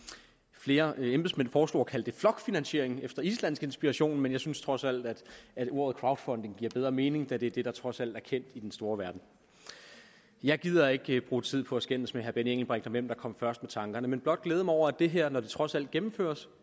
flere embedsmænd foreslog at kalde det flokfinansiering efter islandsk inspiration men jeg synes trods alt at ordet crowdfunding giver bedre mening da det er det der trods alt er kendt i den store verden jeg gider ikke bruge tid på at skændes med herre benny engelbrecht om hvem der kom først med tankerne men vil blot glæde mig over at det her når det trods alt gennemføres